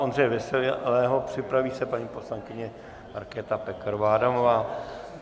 Ondřeje Veselého, připraví se paní poslankyně Markéta Pekarová Adamová.